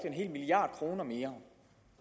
en hel milliard kroner mere